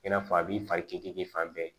I n'a fɔ a b'i fari kiri fan bɛɛ